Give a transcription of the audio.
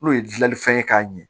N'o ye dilalifɛn ye k'a ɲɛ